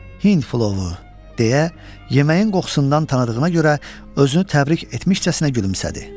Hind plovu, deyə, yeməyin qoxusundan tanıdığına görə özünü təbrik etmişcəsinə gülümsədi.